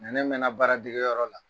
ne mɛnna baara degeyɔrɔ la.